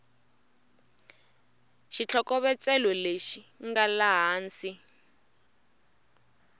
xitlhokovetselo lexi nga laha hansi